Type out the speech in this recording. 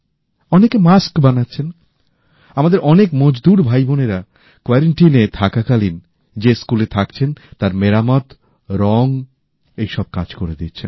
অনেকে মাস্ক বানাচ্ছেন আমাদের অনেক মজদুর ভাইবোনেরা যে স্কুলে থাকছেন তার মেরামত রং এই সব কাজ করে দিচ্ছেন